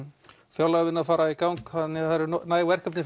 fjárlagavinna að fara í gang þannig það eru næg verkefni